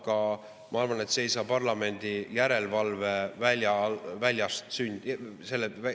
Aga ma arvan, et see ei saa parlamendi järelevalve alt väljas sündida.